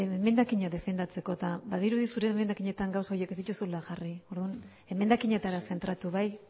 emendakina defentzeko eta badirudi zure emendakina gauza horiek ez dituzula jarri orduan emendakinetara zentratu bai